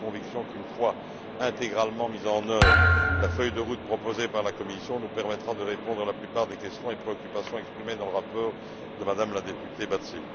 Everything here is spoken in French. J'ai la conviction qu'une fois intégralement mise en œuvre, la feuille de route proposée par la Commission nous permettra de répondre à la plupart des questions et préoccupations exprimées dans le rapport de Mme la députée Batzeli.